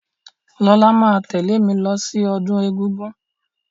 Lọlá máa tẹ̀lẹ́ mí lọ sí ọdún egúngún.